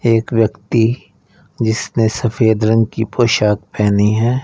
एक व्यक्ति जिसने सफेद रंग की पोशाक पहनी है।